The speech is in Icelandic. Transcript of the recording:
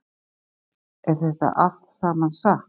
Hödd: Er þetta allt saman satt?